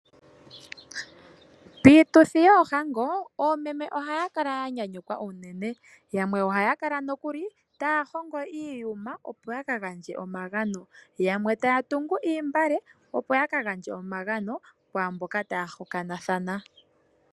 Piituthi yoohango, oomeme ohaya kala ya nyanyukwa unene. Yamwe ohaya kala nokuli taya hongo iiyuma, opo ya kagandje omagano, yamwe taya tungu oontungwa, opo ya ka gandje omagano kwaa mboka taya hokanathana.